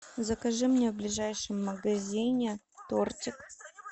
закажи мне в ближайшем магазине тортик